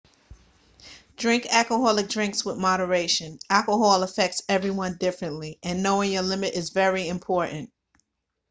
drink alcoholic drinks with moderation alcohol affects everyone differently and knowing your limit is very important